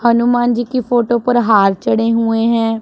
हनुमान जी के फोटो पर हार चढ़े हुए हैं।